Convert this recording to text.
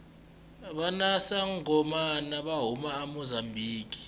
vakangomana vahhuma amusambiki